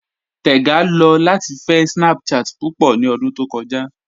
Tẹ́gà lọ latí fẹ̀ Snapchat púpọ̀ ní òdún tó kọja.